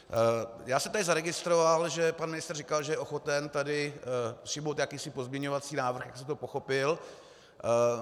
Já jsem tady zaregistroval, že pan ministr říkal, že je ochoten tady přijmout jakýsi pozměňovací návrh, tak jsem to pochopil.